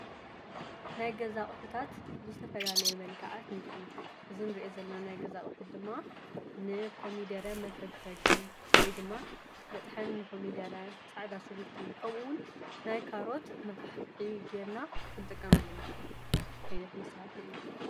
ናይ ገዛቕሑታት ብዝተፈላለየ መልካዓት ንርኢ፣ እዚ ንርኢዮ ዘለና ናይ ገዛ ኣቝሕት ድማ ንኮሚደረ መፈግፈጊ ወይ ድማ መጥሐኒ ንኾሚደረ ፣ፃዕዳ ሽጕርቲ ከምኡውን ናይካሮት መፋሕፍሒ ጌርና ኽጥቀመሉ ንኽእል ዓይነት መሳርሒ እዩ።